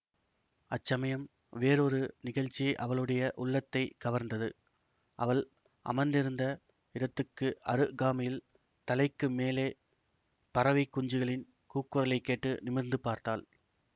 அச்சமயம் வேறொரு நிகழ்ச்சி அவளுடைய உள்ளத்தை கவர்ந்தது அவள் அமர்ந்திருந்த இடத்துக்கு அருகாமையில் தலைக்கு மேலே பறவைக் குஞ்சுகளின் கூக்குரலைக் கேட்டு நிமிர்ந்து பார்த்தாள்